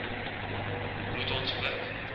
moet ons ook